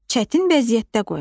Çətin vəziyyətdə qoymaq.